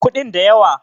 kudin da yawa